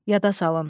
Yada salın.